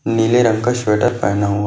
नीले रंग का स्वेटर पहना हुआ--